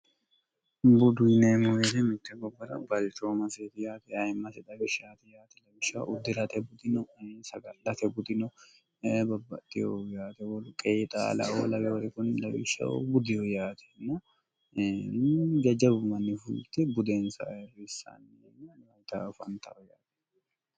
buduyineemmohere mitte gobbora balichoo maseeri yaati ayimmai dawishshaati yaati lawishsha uddi'rate budino sagallate gudino babbaxxiho yaate wolu qeixalao lawe wori kunni lawishshah buddihu yaatiinno jajjabu manni fulti budeensa airrissaanni mayixaafantao yaati